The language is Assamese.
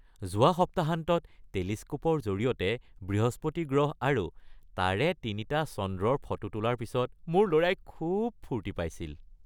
যোৱা সপ্তাহান্তত টেলিস্ক'পৰ জৰিয়তে বৃহস্পতি গ্ৰহ আৰু তাৰে তিনিটা চন্দ্ৰৰ ফটো তোলাৰ পিছত মোৰ ল'ৰাই খুব ফূৰ্তি পাইছিল।